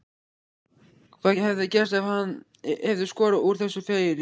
Hvað hefði gerst ef hann hefði skorað úr þessu færi?